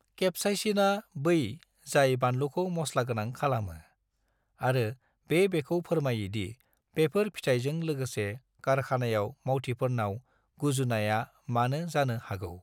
केप्साइसिनआ बै जाय बानलुखौ मस्लागोनां खालामो, आरो बे बेखौ फोरमायो दि बेफोर फिथाइजों लोगोसे कारखानायाव मावथिफोरनाव गुजुनाया मानो जानो हागौ।